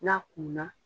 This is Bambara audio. N'a kunna